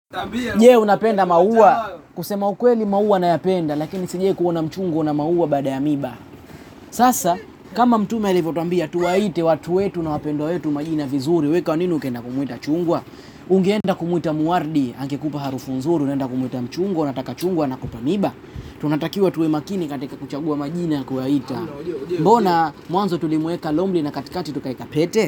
Je, unapenda maua? Kusema ukweli, maua nayapenda lakini sijawahi kuona mchungu wa maua bila miba. Sasa kama mtume alivyotuambia, tuwaite watu wetu na wapendwa wetu majina vizuri, wewe kwa nini ukaenda kumwita chungwa? Ungeenda kumwita mwardi, angekupa harufu nzui, unaenda kumwita mchungwa, unataka chungwa anakupa miba. Tunatakiwa tuwe makini katika kuchagua majina ya kuwaita mbona mwanzo tulimweka lombi na katikati tukaweka pete?